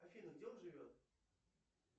афина где он живет